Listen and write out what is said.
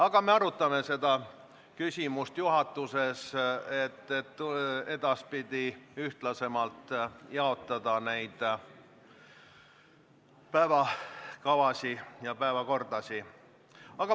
Aga me arutame juhatuses seda küsimust, et edaspidi võiks ehk päevakorrapunkte ühtlasemalt jagada.